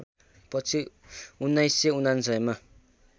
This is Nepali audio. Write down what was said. पछि १९९९ मा